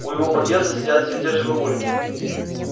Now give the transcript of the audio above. у его подъезда сидят все те же бабульки